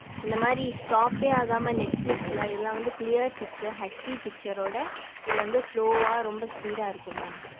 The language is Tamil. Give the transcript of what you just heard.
இந்த மாதிரி stop எர் ஆகம net flix ல இதெல்லாம் வந்து clear picture HD picture ஊட இது வந்து slow ஆஹ் ரொம்ப speed ஆஹ் இருக்கும் mam